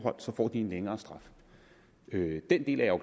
og så får de en længere straf den del af